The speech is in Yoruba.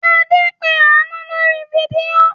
Adé ń pe Àánú lórí fídíò.